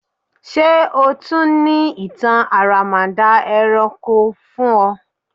Ṣe o tun ni itan aramada ẹranko l fun ọ?